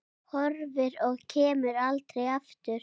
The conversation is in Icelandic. Horfin og kemur aldrei aftur.